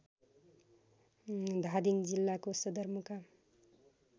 धादिङ जिल्लाको सदरमुकाम